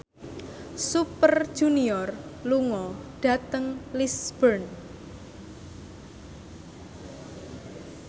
Super Junior lunga dhateng Lisburn